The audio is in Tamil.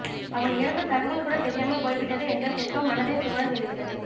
அவன் இறந்த தகவல் கூட தெரியாமல் போய்விட்டதே என்ற துக்கம் மனதை துவள செய்துவிட்டது